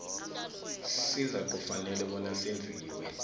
sizakufanele bona senziwe